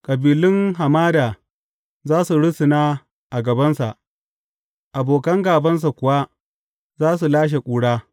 Kabilun hamada za su rusuna a gabansa abokan gābansa kuwa za su lashe ƙura.